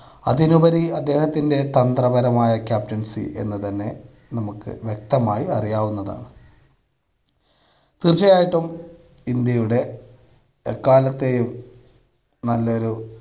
അതിനുപരി അദ്ദേഹത്തിൻ്റെ തന്ത്ര പരമായ captaincy എന്ന് തന്നെ നമുക്ക് വ്യക്തമായി അറിയാവുന്നതാണ്. തീർച്ചയായിട്ടും ഇന്ത്യയുടെ എക്കാലത്തെയും നല്ലൊരു